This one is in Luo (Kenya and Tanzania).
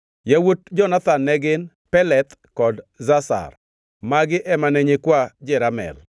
Yawuot Jonathan ne gin: Peleth kod Zazar. Magi ema ne nyikwa Jeramel.